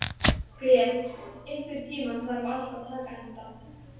Grét, einhvern tímann þarf allt að taka enda.